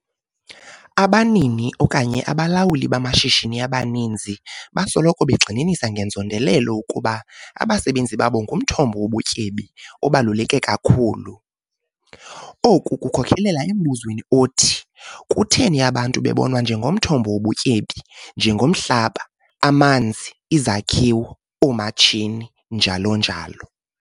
ABANINI OKANYE ABALAWULI BAMASHISHINI ABANINZI BASOLOKO BEGXININISA NGENZONDELELO UKUBA ABASEBENZI BABO NGUMTHOMBO WOBUTYEBI OBALULEKE KAKHULU. OKU KUKHOKELELA EMBUZWENI OTHI - KUTHENI ABANTU BEBONWA NJENGOMTHOMBO WOBUTYEBI, NJENGOMHLABA, AMANZI, IZAKHIWO, OOMATSHINI, NJALO NJALO?